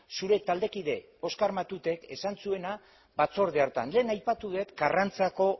zure taldekide oskar matutek esan zuena batzorde hartan lehen aipatu dut karrantzako